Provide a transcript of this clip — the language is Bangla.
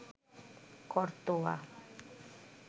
করতোয়া